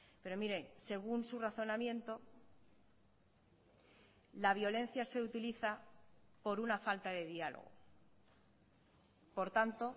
pero mire según su razonamiento la violencia se utiliza por una falta de diálogo por tanto